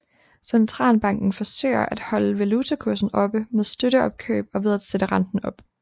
Centralbanken forsøgte at holde valutakursen oppe med støtteopkøb og ved at sætte renten op